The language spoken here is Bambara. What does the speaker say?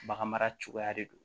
Bagan mara cogoya de don